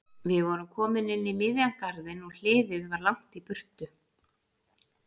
Við vorum komin inn í miðjan garðinn og hliðið var langt í burtu.